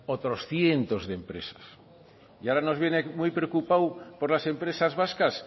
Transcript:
otros cientos de empresas y ahora nos viene muy preocupado por las empresas vascas